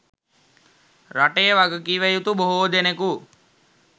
රටේ වගකිවයුතු බොහෝ දෙනකු